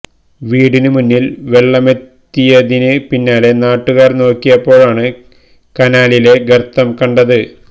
വീട്ടിന് മുന്നില് വെള്ളമെത്തിയതിന് പിന്നാലെ നാട്ടുകാര് നോക്കിയപ്പോഴാണ് കനാലിലെ ഗര്ത്തം കണ്ടത്